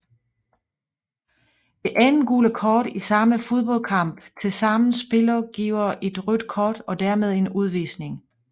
Det andet gule kort i samme fodboldkamp til sammen spiller giver et rødt kort og dermed en udvisning